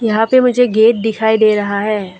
यहां पे मुझे गेट दिखाई दे रहा है।